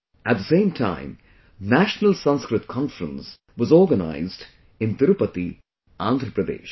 At the same time, 'National Sanskrit Conference' was organized in Tirupati, Andhra Pradesh